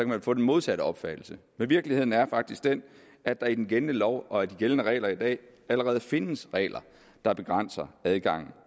man få den modsatte opfattelse men virkeligheden er faktisk den at der i den gældende lov og de gældende regler i dag allerede findes regler der begrænser adgangen